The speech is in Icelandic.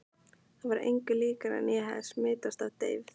Það var engu líkara en ég hefði smitast af deyfð